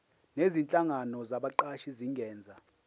nezinhlangano zabaqashi zingenza